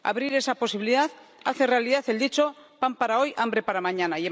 Abrir esa posibilidad hace realidad el dicho Pan para hoy, hambre para mañana.